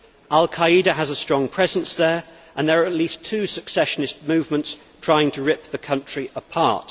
Al Qa'ida has a strong presence there and there are at least two secessionist movements trying to rip the country apart.